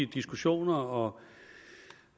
diskussioner og